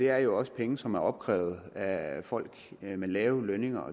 er jo også penge som er opkrævet af folk med lave lønninger